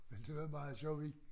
Men det var meget sjovt vi